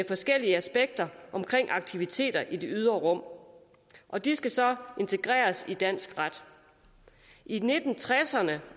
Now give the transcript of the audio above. forskellige aspekter af aktiviteter i det ydre rum og de skal så integreres i dansk ret i nitten tresserne